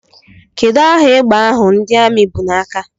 Kedụ aha égbè ahụ ndị Armi bụ n'aka?